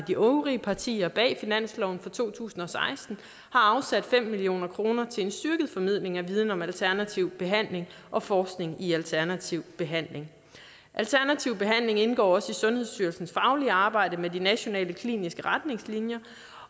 de øvrige partier bag finansloven for to tusind og seksten har afsat fem million kroner til en styrket formidling af viden om alternativ behandling og forskning i alternativ behandling alternativ behandling indgår også i sundhedsstyrelsens faglige arbejde med de nationale kliniske retningslinjer